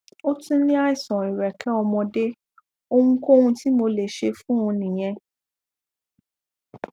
ó tún ní àìsàn ìrẹkẹ ọmọdé ohunkóhun tí mo lè ṣe fún un nìyẹn